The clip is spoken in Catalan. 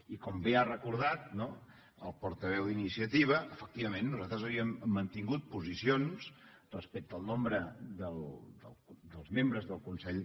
i com bé ha recordat no el portaveu d’iniciativa efectivament nosaltres havíem mantingut posicions respecte al nombre de membres del consell